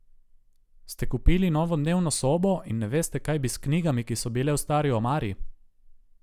Ste kupili novo dnevno sobo in ne veste, kaj bi s knjigami, ki so bile v stari omari?